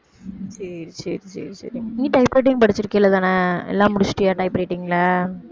சரி சரி சரி சரி நீ typewriting படிச்சிருக்க இல்லதான எல்லாம் முடிச்சிட்டியா typewriting ல